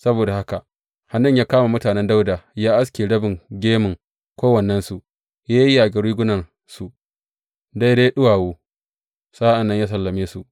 Saboda haka Hanun ya kama mutanen Dawuda ya aske rabin gemun kowannensu, ya yayyage rigunarsu daidai ɗuwawu, sa’an nan ya sallame su.